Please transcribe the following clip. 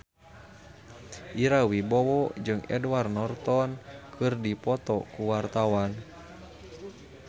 Ira Wibowo jeung Edward Norton keur dipoto ku wartawan